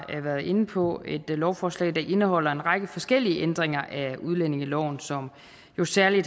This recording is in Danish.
været inde på et lovforslag der indeholder en række forskellige ændringer af udlændingeloven som jo særlig